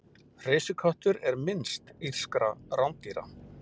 hreysiköttur er minnst írskra rándýra